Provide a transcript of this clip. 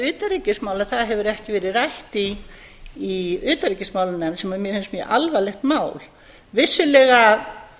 utanríkismál að það hefur ekki verið rætt í utanríkismálanefnd sem mér finnst mjög alvarlegt mál vissulega